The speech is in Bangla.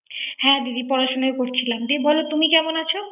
হ্যা দিদি পরাশুনাই করছিলাম। জি বল তুমি কেমন আছো